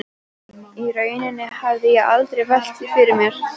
Í rauninni hafði ég aldrei velt því fyrir mér.